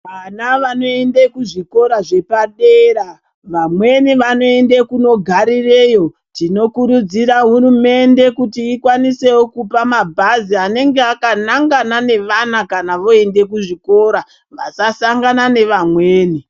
Vana vanoende kuzvikora zvepadera vamweni vanoende kunogarireyo. Tinokurudzira hurumende kuti ikwanisevo kupa mabhazi anenge akanangana nevana kana voende kuzvikora vasasangana nevamweni.